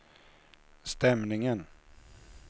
stämningen